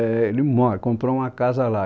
Éh ele mora, comprou uma casa lá.